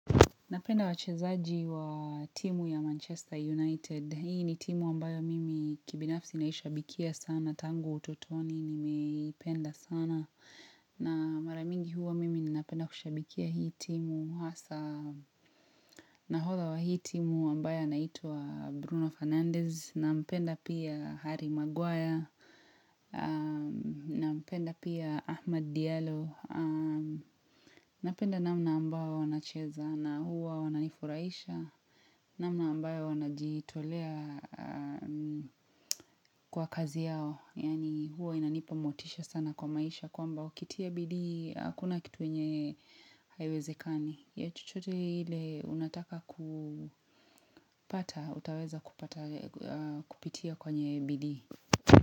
Napenda wachezaji waaaa timu ya Manchester Unitedi. Hii ni timu ambayo mimi kibinafsi naishabikia sana. Tangu ututoni nimeii penda sana. Na mara mingi huwa mimi ni napenda kushabikia hii timu. Hasaa, nahodha wa hii timu ambaye anaitwa Bruno Fernandez. Nampenda pia Harry Maguaya aaaaa. Nampenda pia Ahmad Diyalo aaaaaa. Napenda namna ambao wanacheza na huwa wanaifurahisha namna ambayo wanaji tolea aaaaaa kwa kazi yao yani huwa inanipa motisha sana kwa maisha kwamba ukitia bidii hakuna kitu nyenye haiwezekani ya chochote ile unataka kupata utaweza kupitia kwenye bidii.